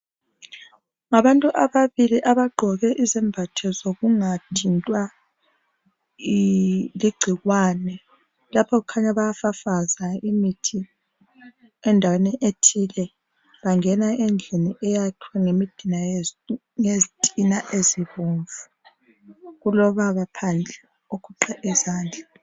Abantu ababili abaqgoke izembatho zokungathintwa ligcikwane lapho kukhanya bayafafaza imithi endaweni ethile bangena endlini eyakhwe ngezitina ezibomvu kulobaba phandle ogoqe izandla